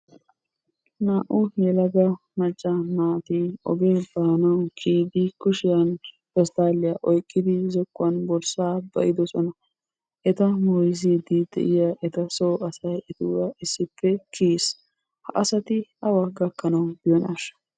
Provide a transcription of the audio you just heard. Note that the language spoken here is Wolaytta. Naa"u yelaga macca naati ogiyaa baanawu kiyidi kushiyan pesttaliya oyqqidi zokkuwan borssaa ba'idoosona. Eta moysside de'iya eta soo asay etuura issippe kiyees. Ha asati awa gakkanawu biyonashsha?